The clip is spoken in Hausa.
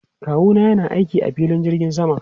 Kawu na yana aiki a filin jirgin sama.